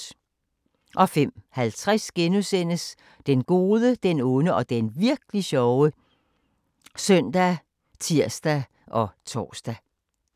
05:50: Den gode, den onde og den virk'li sjove *( søn, tir, tor)